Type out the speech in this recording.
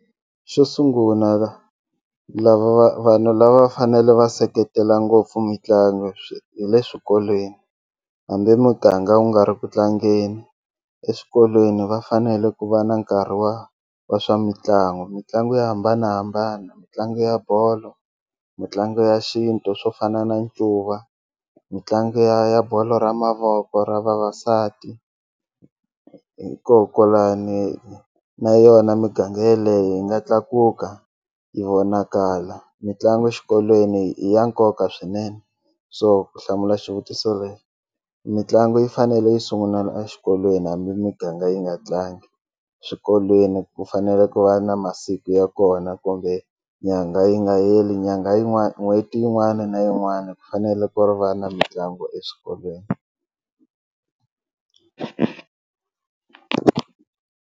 Xo sunguna lava va vanhu lava fanele va seketela ngopfu mitlangu hi le swikolweni hambi muganga wu nga ri ku tlangeni eswikolweni va fanele ku va na nkarhi wa wa swa mitlangu, mitlangu yo hambanahambana mitlangu ya bolo mitlangu ya xintu swo fana na ncuva mitlangu ya ya bolo ra mavoko ra vavasati hikokwalani na yona miganga yeleye yi nga tlakuka yi vonakala mitlangu xikolweni i ya nkoka swinene so ku hlamula xivutiso leyi mitlangu yi fanele yi sungulela exikolweni hambi miganga yi nga tlangi swikolweni ku fanele ku va na masiku ya kona kumbe nyangha yi nga heli nyangha yin'wana n'hweti yin'wana na yin'wana ku fanele ku ri va na mitlangu eswikolweni.